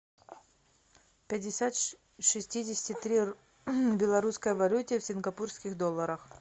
пятьдесят шестидесяти три в белорусской валюте в сингапурских долларах